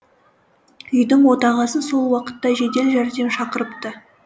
үйдің отағасы сол уақытта жедел жәрдем шақырыпты